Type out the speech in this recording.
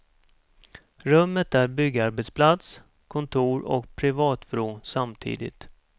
Rummet är byggarbetsplats, kontor och privatvrå samtidigt.